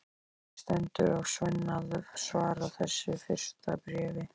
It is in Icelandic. Ekki stendur á Svenna að svara þessu fyrsta bréfi.